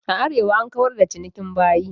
A Arewa an kawar da cinikin bayi.